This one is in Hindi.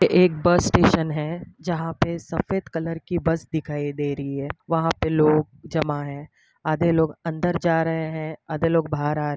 एक बस स्टेशन है जहा पे सफ़ेद कलर की बस सिखाई दे रही है वह पे लोग जमा है आधे लोग अंदर जा रहे है आधे लोग बाहर आ रहे --